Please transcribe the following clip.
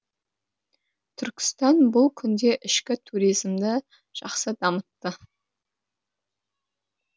түркістан бұл күнде ішкі туризмді жақсы дамытты